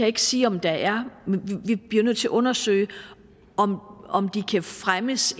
ikke sige om der er vi bliver nødt til at undersøge om de kan fremmes